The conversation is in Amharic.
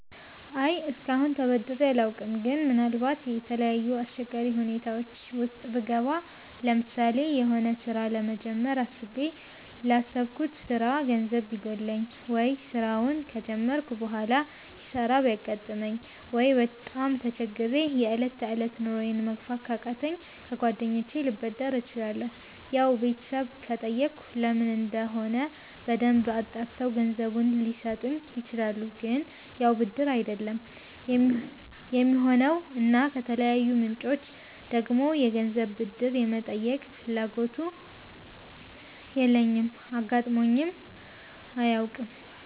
አይ እስከአሁን ተበድሬ አላውቅም ግን ምናልባት የተለያዩ አስቸጋሪ ሁኔታወች ዉስጥ ብገባ ለምሳሌ የሆነ ስራ ለመጀመር አስቤ ላሰብኩት ስራ ገንዘብ ቢጎለኝ፣ ወይ ስራውን ከጀመርኩ በሆላ ኪሳራ ቢያጋጥመኝ፣ ወይ በጣም ተቸግሬ የ እለት ተእለት ኑሮየን መግፋት ካቃተኝ ከ ጓደኞቸ ልበደር እችላለሁ ያው ቤተሰብ ከጠየኩ ለምን እንደሆነ በደንብ አጣርተው ገንዘቡን ሊሰጡኝ ይችላሉ ግን ያው ብድር አይደለም የሚሆነው እና ከተለያዩ ምንጮች ደግሞ የገንዘብ ብድር የመጠየቅ ፍላጎቱም የለኝም አጋጥሞኝም አያውቅም